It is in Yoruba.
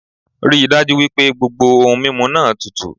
Ríi dájú wípé gbogbo ohun mímu náà tutù